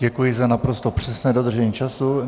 Děkuji za naprosto přesné dodržení času.